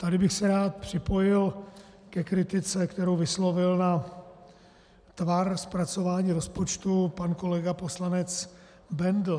Tady bych se rád připojil ke kritice, kterou vyslovil na tvar zpracování rozpočtu pan kolega poslanec Bendl.